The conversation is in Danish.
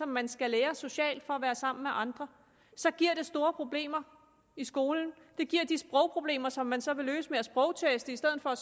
man skal lære socialt for at være sammen med andre så giver det store problemer i skolen det giver de sprogproblemer som man så vil løse ved at sprogteste i stedet for at